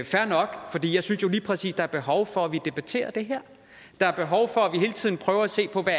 fair nok jeg synes jo lige præcis der er behov for at vi debatterer det her der er behov for at vi hele tiden prøver at se på hvad